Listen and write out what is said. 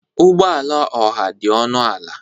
Ụgbọ ala ọha dị ọnụ ala.